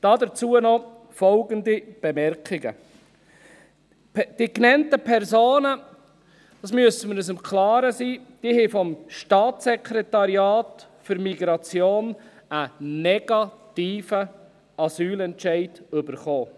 Dazu noch folgende Bemerkungen: Es muss uns klar sein, dass die genannten Personen vom Staatssekretariat für Migration (SEM) einen negativen Asylentscheid erhalten haben.